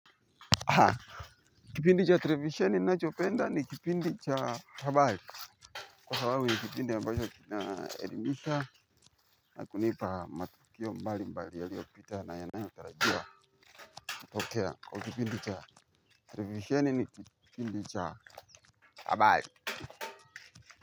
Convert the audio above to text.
Ha kipindi cha televisheni ninachopenda ni kipindi cha habari kwa sababu ni kipindi ambacho kinaelimisha na kunipa matukio mbali mbali yaliyopita na yanayotarajiwa kutokea kwa kipindi cha televisheni ni kipindi cha habari.